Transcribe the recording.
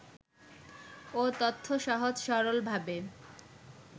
ও তথ্য সহজ-সরলভাবে